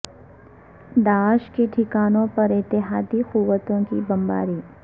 داعش کے ٹھکانوں پر اتحادی قوتوں کی بمباری